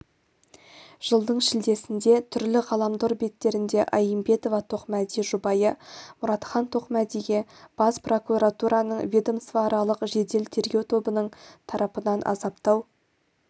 жылдың шілдесінде түрлі ғаламтор беттерінде аимбетова-тоқмәди жұбайы мұратхан тоқмәдиге бас прокуратураның ведомствоаралық жедел-тергеу тобының тарапынан азаптау